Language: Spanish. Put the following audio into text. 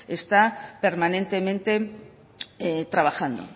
está permanentemente trabajando